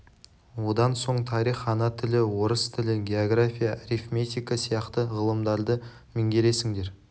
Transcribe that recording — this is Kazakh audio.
одан соң тарих ана тілі орыс тілі география арифметика сияқты ғылымдарды меңгересіңдер